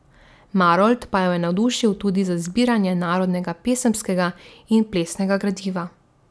Marolt pa jo je navdušil tudi za zbiranje narodnega pesemskega in plesnega gradiva.